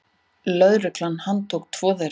Lögregla handtók tvo þeirra.